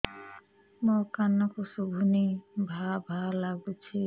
ମୋ କାନକୁ ଶୁଭୁନି ଭା ଭା ଲାଗୁଚି